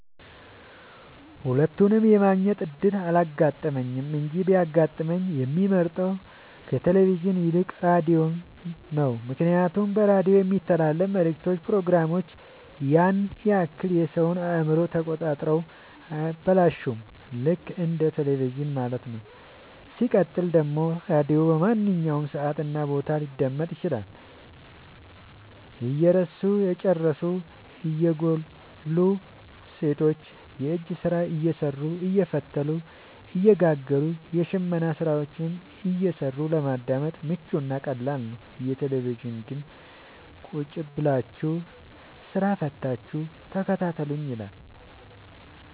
ሁለቱንም የማግኘት እድል አላጋጠመኝም እንጂ ቢያጋጥመኝ የምመርጠው ከቴሌቪዥን ይልቅ ራዲዮን ነው ምክንያቱም በራዲዮ የሚተላለፍት መልክቶች ፕሮግራሞች ያን ያክል የሰወን አእምሮ ተቆጣጥረው አያበላሹም ልክ እንደ በቴለቪዥን ማለት ነው። ሲቀጥል ደግሞ ራዲዮ በማንኛውም ሰዓት እና ቦታ ሊደመጥ ይችላል። እያረሱ የጨዱ እየጎሉ ሰቶች የእጅ ስራ እየሰሩ አየፈተሉ እየጋገሩም የሽመና ስራዎችን እየሰሩ ለማዳመጥ ምቹ እና ቀላል ነው። የቴሌቪዥን ግን ቁጭብላችሁ ስራ ፈታችሁ ተከታተሉኝ ይላል።